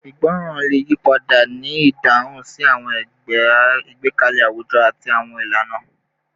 Ìgbọràn le yipada ni idahun si awọn igbekalẹ awujọ ati awọn ilana